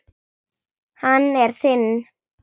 Hann er þinn.